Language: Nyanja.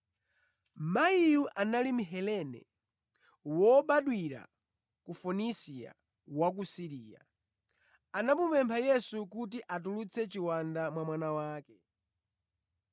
Mayiyu anali Mhelene, wobadwira ku Fonisia wa ku Siriya. Anamupempha Yesu kuti atulutse chiwanda mwa mwana wake.